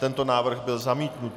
Tento návrh byl zamítnut.